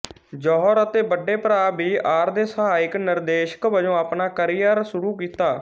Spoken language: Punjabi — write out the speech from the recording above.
ਜੌਹਰ ਅਤੇ ਵੱਡੇ ਭਰਾ ਬੀ ਆਰ ਦੇ ਸਹਾਇਕ ਨਿਰਦੇਸ਼ਕ ਵਜੋਂ ਆਪਣਾ ਕਰੀਅਰ ਸ਼ੁਰੂ ਕੀਤਾ